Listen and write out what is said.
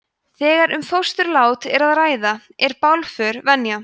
þegar um fósturlát er að ræða er bálför venja